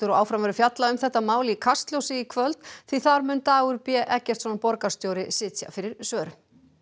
og áfram verður fjallað um þetta mál í Kastljósi í kvöld því þar mun Dagur b Eggertsson borgarstjóri sitja fyrir svörum